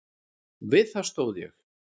Við það stóð ég.